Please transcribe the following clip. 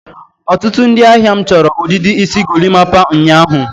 ọtụtụ ndị ahịa m chọrọ ọdịdị isi golimapa ụnyaahụ.